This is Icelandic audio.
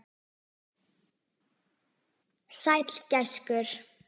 Sæll gæskur.